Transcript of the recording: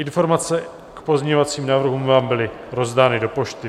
Informace k pozměňovacím návrhům vám byly rozdány do pošty.